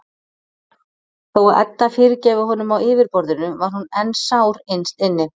Þó að Edda fyrirgæfi honum á yfirborðinu var hún enn sár innst inni.